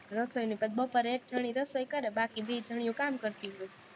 રસોઈની બપોર એક જણી રસોઈ કરે, બાકી બેય જણીયું કામ કરતી હોય,